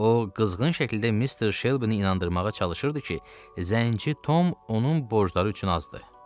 O qızğın şəkildə Mister Shelby-i inandırmağa çalışırdı ki, zənci Tom onun borcları üçün azdır.